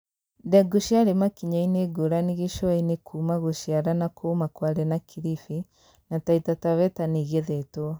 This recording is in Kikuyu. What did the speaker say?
Ndengũ ciarĩ makinya-inĩ ngũrani gĩcũa-inĩ kuuma gũciara na kũũma Kwale na Kilifi, na Taita Taveta nĩigethetwo